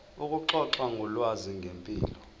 ukuxoxa ngolwazi ngempilo